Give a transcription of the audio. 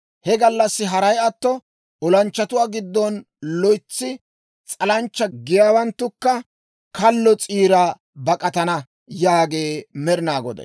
He gallassi haray atto olanchchatuwaa giddon loytsi s'alanchcha giyaawanttukka kallo s'iira bak'atana» yaagee Med'inaa Goday.